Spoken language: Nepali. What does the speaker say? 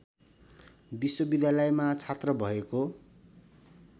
विश्वविद्यालयमा छात्र भएको